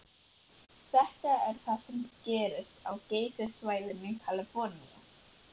Þetta er það sem gerðist á Geysissvæðinu í Kaliforníu.